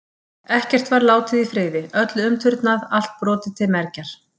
Ekkert var látið í friði, öllu umturnað, allt brotið til mergjar.